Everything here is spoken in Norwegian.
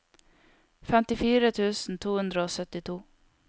femtifire tusen to hundre og syttito